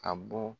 Ka bɔ